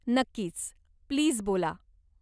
नक्कीच, प्लीज बोला.